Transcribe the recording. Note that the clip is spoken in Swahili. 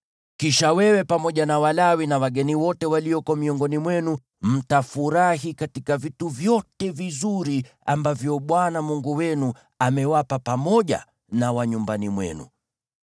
Kisha wewe pamoja na Walawi na wageni wote walioko miongoni mwenu mtafurahi katika vitu vyote vizuri ambavyo Bwana Mungu wenu amewapa pamoja na wa nyumbani mwenu.